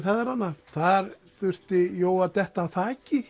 feðranna þar þurfti Jói að detta af þaki